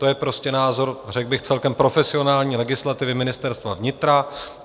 To je prostě názor, řekl bych, celkem profesionální legislativy Ministerstva vnitra.